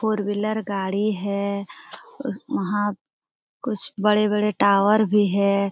Four wheeler गाड़ी है उस वहां कुछ बड़े-बड़े टावर भी है।